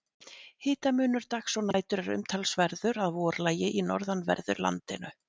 Hitamunur dags og nætur er umtalsverður að vorlagi í norðanverðu landinu.